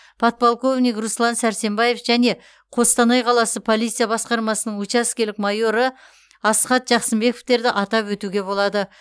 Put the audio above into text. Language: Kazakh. подполковник руслан сәрсенбаев және қостанай қаласы полиция басқармасының учаскелік майоры асхат жақсымбековтерді атап өтуге болады